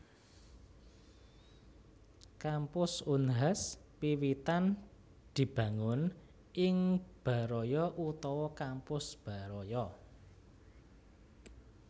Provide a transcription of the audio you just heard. Kampus Unhas wiwitan dibangun ing Baraya utawa Kampus Baraya